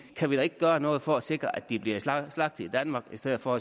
kan vi da ikke gøre noget for at sikre at de bliver slagtet i danmark i stedet for